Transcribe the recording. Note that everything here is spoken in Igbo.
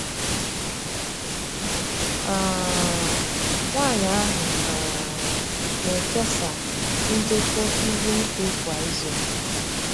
um Nwanyi ahụ um na-ekesa ndekọ ihu igwe kwa izu.